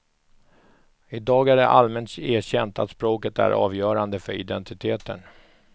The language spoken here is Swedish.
Idag är det allmänt erkänt att språket är avgörande för identiteten.